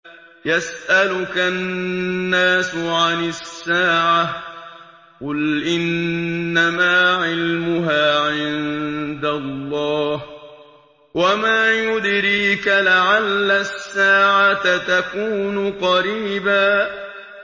يَسْأَلُكَ النَّاسُ عَنِ السَّاعَةِ ۖ قُلْ إِنَّمَا عِلْمُهَا عِندَ اللَّهِ ۚ وَمَا يُدْرِيكَ لَعَلَّ السَّاعَةَ تَكُونُ قَرِيبًا